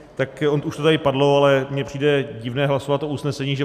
Ono už to tady padlo, ale mně přijde divné hlasovat o usnesení, že